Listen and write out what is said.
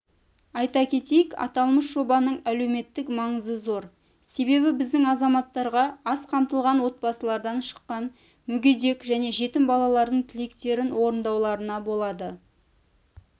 айта кетейік аталмыш жобаның әлеуметтік маңызы зор себебі біздің азаматтарға аз қамтылған отбасылардан шыққан мүгедек және жетім балалардың тілектерін орындауларына болады